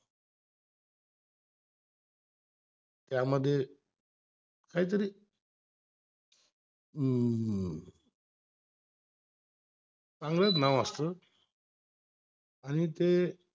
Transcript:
आणि त्यामध्य काहीतर हम्म चांगलेच नाव असत आणि ते